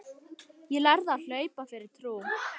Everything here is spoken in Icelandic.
Ég lærði að hlaupa fyrir trú.